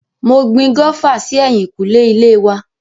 Mo gbin gófà sí ẹ̀yìnkùlé ilé wa.